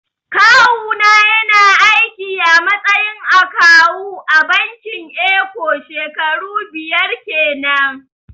Kawu na ya na aiki a matsayin akawu a bankin eko shekaru biyar kenan